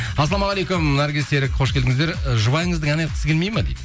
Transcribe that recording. ассалаумағалейкум наргиз серік қош келдіңіздер ы жұбайыңыздың ән айтқысы келмейді ме дейді